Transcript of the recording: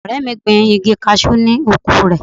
Ọ̀rẹ́ mi gbin igi cashew ni oko rẹ̀.